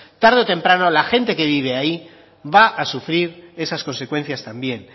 tarde o temprano la gente que vive ahí va a sufrir esas consecuencias también